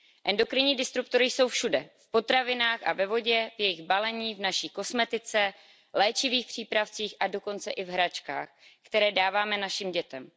Endokrinní disruptory jsou všude, v potravinách a ve vodě, v jejich balení, v naší kosmetice, v léčivých přípravcích a dokonce i v hračkách, které dáváme našim dětem.